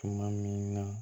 Tuma min na